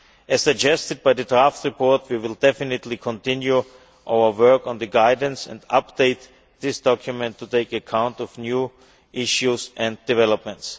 As suggested by the draft report, we will definitely continue our work on the guidance and update this document to take account of new issues and developments.